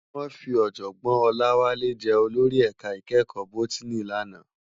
Wòn fi òjògbòn Olawale jè ólórí èká ikèékò bótìní làná